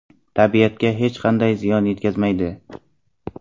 Tabiatga hech qanday ziyon yetkazmaydi.